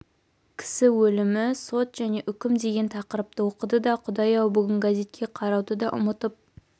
кісі өлімі сот және үкім деген тақырыпты оқыды да құдай-ау бүгін газетке қарауды да ұмытып